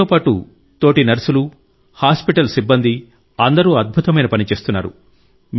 మీతో పాటు తోటి నర్సులు హాస్పిటల్ సిబ్బంది అందరూ అద్భుతమైన పని చేస్తున్నారు